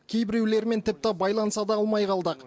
кейбіреулерімен тіпті байланыса да алмай қалдық